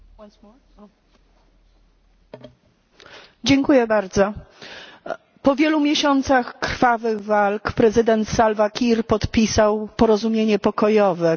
Po wielu miesiącach krwawych walk prezydent Salva Kiir podpisał porozumienie pokojowe, któremu towarzyszyły jednak liczne naruszenia zawieszenia broni.